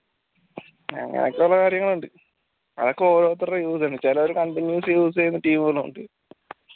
അങ്ങനെയൊക്കെയുള്ള കാര്യങ്ങളുണ്ട് അതൊക്കെ ഓരോരുത്തരുടെ use അനുസരിച്ച് ചെലര് continuous use ചെയ്യുന്ന team കളും ഉണ്ട്